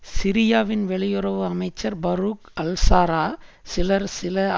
சிரியாவின் வெளியுறவு அமைச்சர் பரூக் அல்ஷாரா சிலர் சில